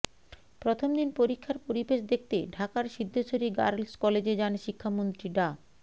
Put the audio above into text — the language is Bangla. প্রথম দিন পরীক্ষার পরিবেশ দেখতে ঢাকার সিদ্ধেশ্বরী গার্লস কলেজে যান শিক্ষামন্ত্রী ডা